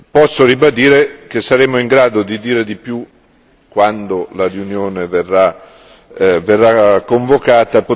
Posso ribadire che saremo in grado di dire di più quando la riunione verrà convocata.